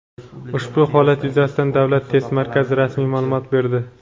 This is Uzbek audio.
Ushbu holat yuzasidan Davlat test markazi rasmiy ma’lumot berdi.